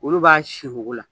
Olu b'a si wugu la